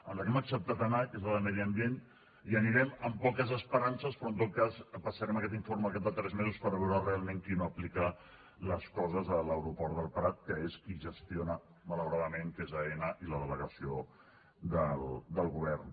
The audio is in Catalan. en la que hem acceptat anar que és la de medi ambient hi anirem amb poques esperances però en tot cas passarem aquest informe al cap de tres mesos per veure realment qui no aplica les coses a l’aeroport del prat que és qui gestiona malauradament que és aena i la delegació del govern